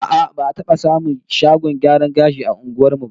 A'a, ba'a taba samun shagon gyaran gashi a unguwar mu ba